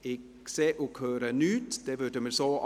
– Ich sehe und höre nichts, dann beginnen wir so.